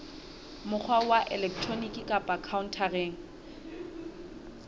mokgwa wa elektroniki kapa khaontareng